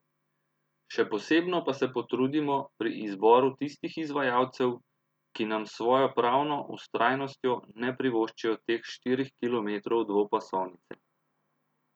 Še posebno pa se potrudimo pri izboru tistih izvajalcev, ki nam s svojo pravno vztrajnostjo ne privoščijo teh štirih kilometrov dvopasovnice.